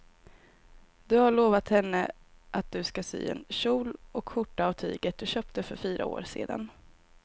Du har lovat henne att du ska sy en kjol och skjorta av tyget du köpte för fyra år sedan.